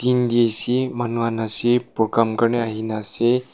manu han ase program karni ahinaase.